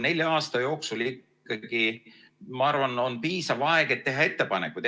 Neli aastat, ma arvan, on piisav aeg, et teha ettepanekuid.